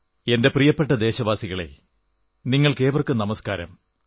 എന്റെ പ്രിയപ്പെട്ട ദേശവാസികളേ നിങ്ങൾക്കേവർക്കും നമസ്കാരം